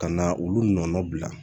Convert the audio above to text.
Ka na olu nɔnɔ bila